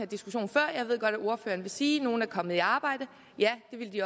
diskussion før og jeg ved godt at ordføreren vil sige at nogle er kommet i arbejde ja det ville de